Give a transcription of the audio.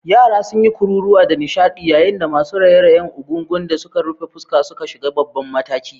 Yara sun yi kururuwa da nishadi yayin da masu raye-rayen Egungun da suka rufe fuska suka shiga babban mataki.